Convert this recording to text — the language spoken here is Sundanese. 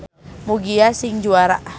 Mugia sing juara.